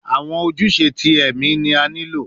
Awọn ojuse ti ẹmi ni a nilo